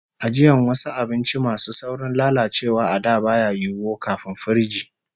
Ajiyan wasu abinci masu saurin lalacewa a da baya yiwo, kafin firiji